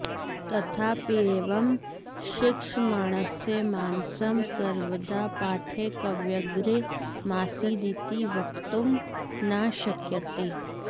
तथाप्येवं शिक्षमाणस्य मानसं सर्वदा पाठैकव्यग्रमासीदिति वक्तुं न शक्यते